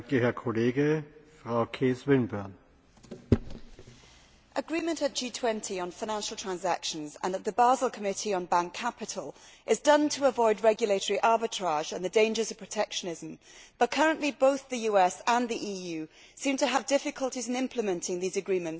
Mr President, agreement at the G20 on financial transactions, and at the Basel Committee on bank capital, is done to avoid regulatory arbitrage and the dangers of protectionism, but currently both the US and the EU seem to have difficulties in implementing these agreements in several areas.